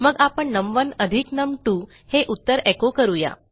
मग आपण नम1 अधिक नम2 हे उत्तर एचो करू या